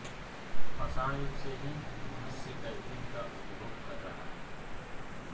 पाषाण युग से ही मनुष्य कैफीन का उपभोग कर रहा है